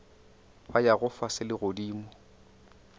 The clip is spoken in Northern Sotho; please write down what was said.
ba yago fase le godimo